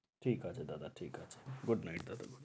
ঠিক আছে দাদা, ঠিক আছে। গুড নাইট দাদা